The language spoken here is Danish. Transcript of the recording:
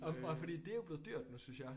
Og og fordi det er jo blevet dyrt synes jeg